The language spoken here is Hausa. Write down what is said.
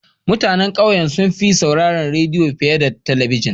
Mutanen ƙauyen sun fi sauraron rediyo fiye da talabijin.